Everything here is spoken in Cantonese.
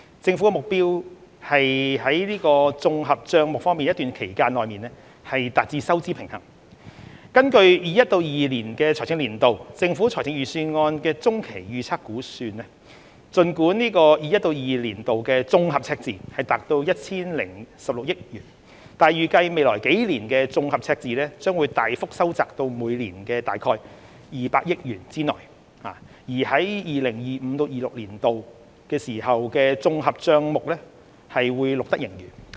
政府的目標是綜合帳目在一段期間內達致收支平衡，根據 2021-2022 財政年度政府財政預算案的中期預測估計，儘管 2021-2022 年度的綜合赤字達 1,016 億元，但預計未來數年的綜合赤字將大幅收窄至每年在200億元之內，至 2025-2026 年度時綜合帳目將錄得盈餘。